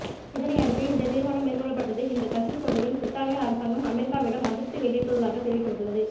இதனை அடுத்தே இந்த தீர்மானம் மேற்கொள்ளப்பட்டுள்ளது இந்த கசிவு தொடர்பில் பிரித்தானிய அரசாங்கம் அமெரிக்காவிடம் அதிருப்தி வெளியிட்டுள்ளதாக தெரிவிக்கப்பட்டுள்ளது